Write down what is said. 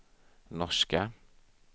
norska